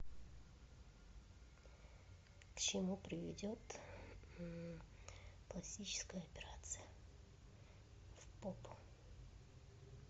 к чему приведет пластическая операция в попу